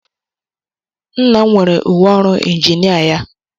Nna m nwere uwe ọrụ injinia ya.